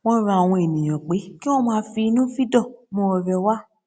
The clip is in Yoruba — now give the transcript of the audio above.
wón rọ àwọn ènìyàn pé kí wón máa fínnúfíndò mú ọrẹ wá